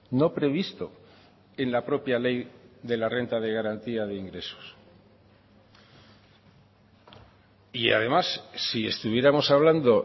no previsto en la propia ley de la renta de garantía de ingresos y además si estuviéramos hablando